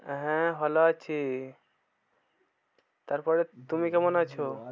হ্যাঁ ভালো আছি। তারপরে তুমি কেমন আছো?